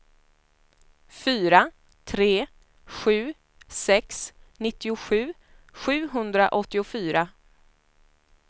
fyra tre sju sex nittiosju sjuhundraåttiofyra